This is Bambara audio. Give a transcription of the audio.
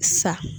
Sa